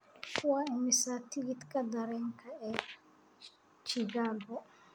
Waa imisa tigidhka tareenka ee Chicago?